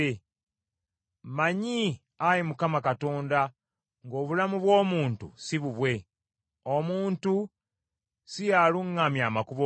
Mmanyi Ayi Mukama Katonda ng’obulamu bw’omuntu si bubwe, omuntu si y’aluŋŋamya amakubo ge.